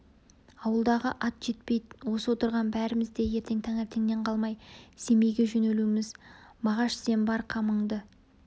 ауылдағы ат жетпейді осы отырған бәріміз де ертең таңертеңнен қалмай семейге жөнелеміз мағаш сен бар қамыңды